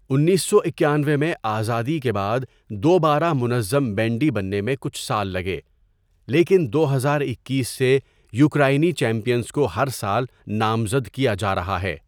انیسو اکانوے میں آزادی کے بعد، دوبارہ منظم بینڈی بننے میں کچھ سال لگے، لیکن دو ہزار اکیس سے یوکرائنی چیمپئنز کو ہر سال نامزد کیا جا رہا ہے.